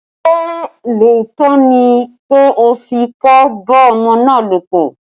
Ṣé lóòótọ́ ni pé o fipá bá ọmọ náà lòpọ̀?